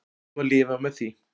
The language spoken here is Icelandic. Það má lifa með því.